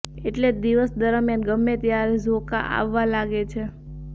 એટલે જ દિવસ દરમિયાન ગમે ત્યારે ઝોકાં આવવા લાગે છે